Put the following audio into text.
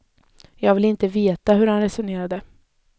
Jag ville veta hur han resonerade.